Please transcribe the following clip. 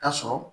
Ka sɔrɔ